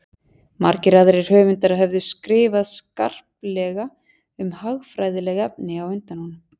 margir aðrir höfundar höfðu skrifað skarplega um hagfræðileg efni á undan honum